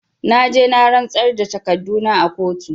Na je na rantsar da da takarduna a kotu